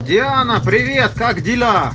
диана привет как дела